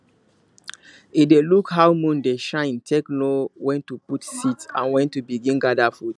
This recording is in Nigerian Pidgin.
e dey look how moon dey shine take know when to put seed and when to begin gather food